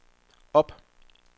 op